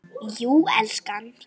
Jú, elskan.